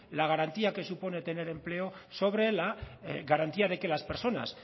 la garantía que supone tener empleo sobre la garantía de que las personas